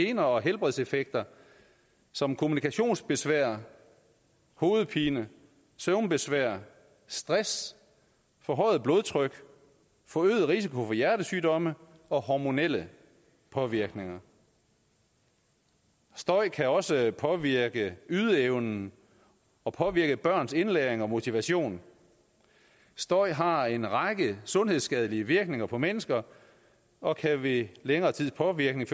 gener og helbredseffekter som kommunikationsbesvær hovedpine søvnbesvær stress forhøjet blodtryk forøget risiko for hjertesygdomme og hormonelle påvirkninger støj kan også påvirke ydeevnen og påvirke børns indlæring og motivation støj har en række sundhedsskadelige virkninger for mennesker og kan ved længere tids påvirkning